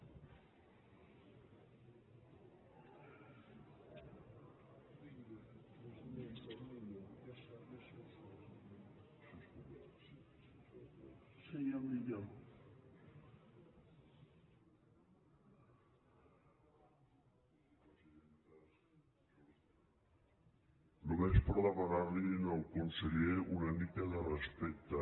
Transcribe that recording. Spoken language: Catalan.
només per demanarli al conseller una mica de respecte